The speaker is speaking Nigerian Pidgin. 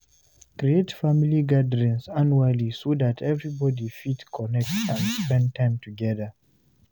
create family gatherings annually so that everybody fit connect and spend time together